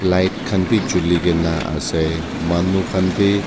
light khan bi chulikae na ase manu khan bi--